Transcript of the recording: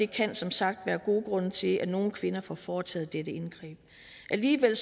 kan som sagt være gode grunde til at nogle kvinder får foretaget dette indgreb alligevel